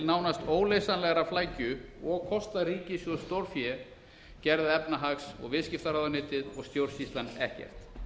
nánast óleysanlegrar flækju og kosta ríkissjóð stórfé gerði efnahags og viðskiptaráðuneytið og stjórnsýslan ekkert